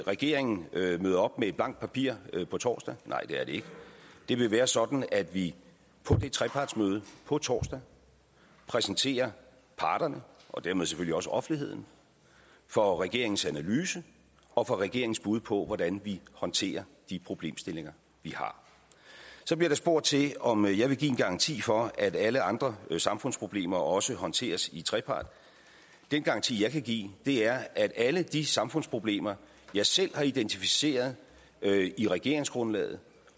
regeringen møder op med et blankt papir på torsdag nej det er det ikke det vil være sådan at vi på det trepartsmøde på torsdag præsenterer parterne og dermed selvfølgelig også offentligheden for regeringens analyse og for regeringens bud på hvordan vi håndterer de problemstillinger vi har så bliver der spurgt til om jeg vil give en garanti for at alle andre samfundsproblemer også håndteres i trepart den garanti jeg kan give er at alle de samfundsproblemer jeg selv har identificeret i regeringsgrundlaget